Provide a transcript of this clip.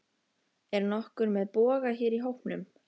Er nokkur með boga hér í hópnum?